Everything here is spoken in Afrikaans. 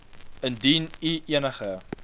indien u enige